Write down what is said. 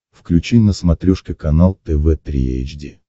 включи на смотрешке канал тв три эйч ди